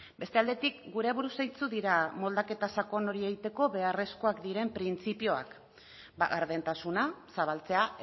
beste aldetik gure aburuz zeintzuk dira moldaketa sakon hori egiteko beharrezkoak diren printzipioak bada gardentasuna zabaltzea